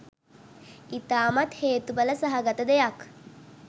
ඉතාමත් හේතුඵල සහගත දෙයක්.